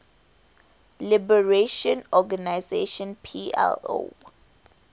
liberation organization plo